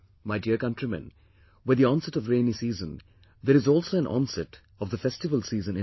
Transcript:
My dear countrymen, with the onset of rainy season, there is also an onset of festival season in our country